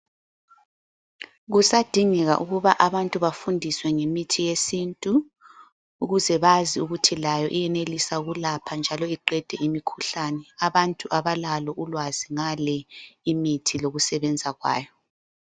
Kusadingeka ukuba abantu bafundiswe ngemithi yesintu ukuze bazi ukuthi layo iyenelisa ukulapha njalo iqede imikhuhlane. Abantu abalalo ulwazi ngale imithi lokusebenza kwayo.